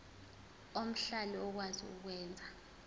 omhlali okwazi ukwenza